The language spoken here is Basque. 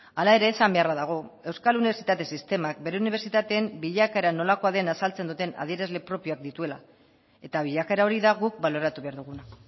hala ere esan beharra dago euskal unibertsitate sistemak bere unibertsitateen bilakaera nolakoa den azaltzen duten adierazle propioak dituela eta bilakaera hori da guk baloratu behar duguna